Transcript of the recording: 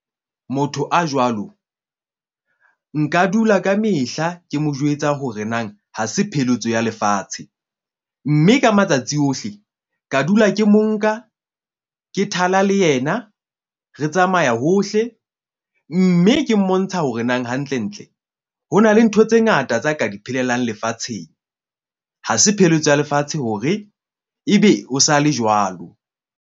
Motho a jwalo nka dula ka mehla ke mo jwetsa hore na ha se pheletso ya lefatshe. Mme ka matsatsi ohle, ka dula ke mo nka ke thala le yena. Re tsamaya hohle mme ke mmontsha hore nang hantlentle hona le ntho tse ngata tsa ka di phelelang lefatsheng. Ha se pheletso ya lefatshe hore ebe o sa le jwalo.